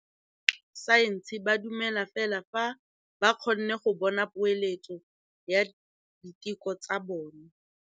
Borra saense ba dumela fela fa ba kgonne go bona poeletsô ya diteko tsa bone.